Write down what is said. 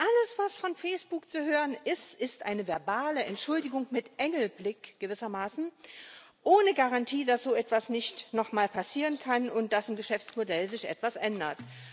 Alles, was von Facebook zu hören ist, ist eine verbale Entschuldigung mit Engelblick gewissermaßen, ohne Garantie, dass so etwas nicht noch mal passieren kann und dass sich im Geschäftsmodell etwas ändert.